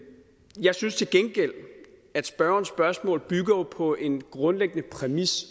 jeg synes til gengæld at spørgerens spørgsmål jo bygger på en grundlæggende præmis